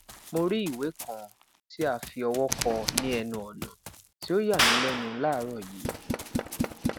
mo ri iwe kan ti a fi ọwọ kọ ni ẹnu ọna ti o ya mi lẹnu laaarọ yii